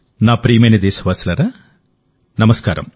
నా ప్రియమైన దేశవాసులారా నమస్కారం